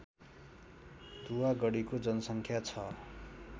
दुवागढीको जनसङ्ख्या छ